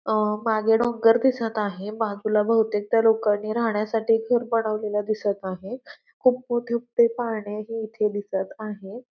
अ मागे डोंगर दिसत आहे बाजूला बहुतेक त्या लोकांनी राहण्यासाठी घर बनवलेल दिसत आहे खूप मोठे मोठे पाळनेही इथे दिसत आहेत.